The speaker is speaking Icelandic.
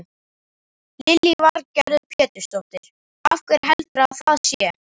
Lillý Valgerður Pétursdóttir: Af hverju heldurðu að það sé?